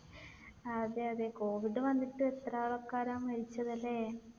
അതെ. അതെ covid വന്നിട്ട് എത്ര ആൾക്കാരാ മരിച്ചത്. അല്ലെ?